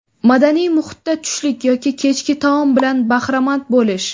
Madaniy muhitda tushlik yoki kechki taom bilan bahramand bo‘lish.